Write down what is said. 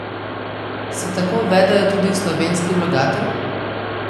Se tako vedejo tudi slovenski vlagatelj?